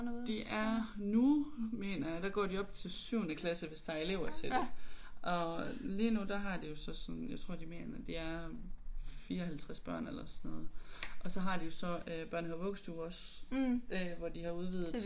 De er nu mener jeg der går de op til 7. klasse hvis der er elever til det og lige nu der har de jo så sådan jeg tror de mener de er 54 børn eller sådan noget og så har de jo så øh børnehave vuggestue også hvor de har udvidet